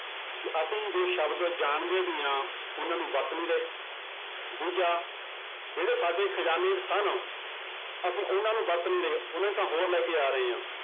ਕਿ ਅਸੀਂ ਜੋ ਸ਼ਬਦ ਜਾਣਦੇ ਵੀ ਹਾਂ ਉਹਨਾਂ ਨੂੰ ਵਰਤ ਨੀ ਰਹੇ ਦੂਜਾ ਜਿਹੜੇ ਸਾਡੇ ਖ਼ਜ਼ਾਨੇ 'ਚ ਸਨ ਅਸੀਂ ਉਹਨਾਂ ਨੂੰ ਵਰਤ ਨੀ ਰਹੇ, ਉਹਨਾਂ ਦੀ ਥਾਂ ਹੋਰ ਲੈ ਕੇ ਆ ਰਹੇ ਹਾਂ,